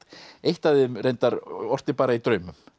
eitt af þeim reyndar orti bara í draumum